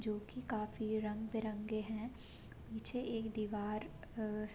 जो कि काफी रंग-बिरंगे है पीछे एक दीवार अअ --